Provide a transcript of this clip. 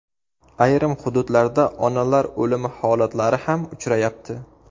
Ayrim hududlarda onalar o‘limi holatlari ham uchrayapti.